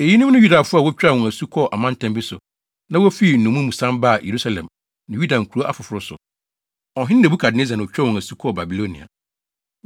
Eyinom ne Yudafo a wotwaa wɔn asu kɔɔ amantam bi so, na wofii nnommum mu san baa Yerusalem ne Yuda nkurow afoforo so. Ɔhene Nebukadnessar na otwaa wɔn asu kɔɔ Babilonia.